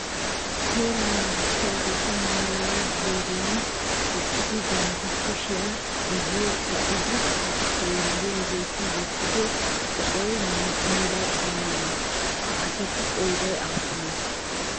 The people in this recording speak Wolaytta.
Seeraa naagissiyaageeti maaraara ziiriyan eqqidi bantta kushiya guyye ba'idi haa xeelliyageeti wottido qophiya meray ay malee? Ha asatu qooday aappunee?